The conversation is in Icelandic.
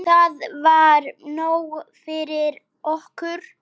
Það var nóg fyrir okkur.